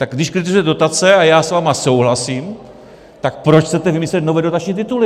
Tak když kritizujete dotace - a já s vámi souhlasím - tak proč chcete vymyslet nové dotační tituly?